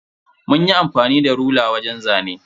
Munyi amfani da rula wajen zane.